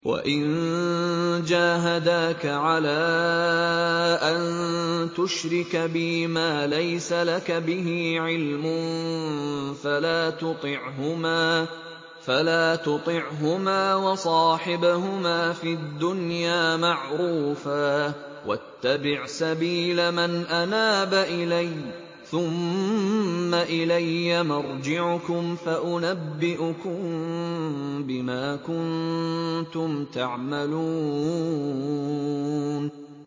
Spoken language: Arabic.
وَإِن جَاهَدَاكَ عَلَىٰ أَن تُشْرِكَ بِي مَا لَيْسَ لَكَ بِهِ عِلْمٌ فَلَا تُطِعْهُمَا ۖ وَصَاحِبْهُمَا فِي الدُّنْيَا مَعْرُوفًا ۖ وَاتَّبِعْ سَبِيلَ مَنْ أَنَابَ إِلَيَّ ۚ ثُمَّ إِلَيَّ مَرْجِعُكُمْ فَأُنَبِّئُكُم بِمَا كُنتُمْ تَعْمَلُونَ